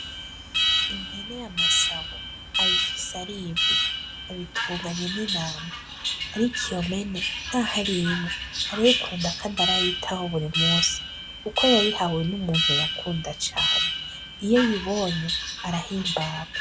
Impene ya Masabo ayifise ar'imwe, abitunganye n'intama ariko iyo mpene naho ar'imwe arayikunda kandi arayitaho buri musi kuko yayihawe n'umuntu yakunda cane iyo ayibonye arahimbagwa.